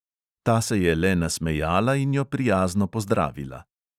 Ta se je le nasmejala in jo prijazno pozdravila.